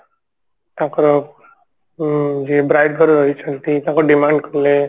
ତାଙ୍କର ଅ ଯେ bride ଘର ରହିଛନ୍ତି ତାଙ୍କ demand କଲେ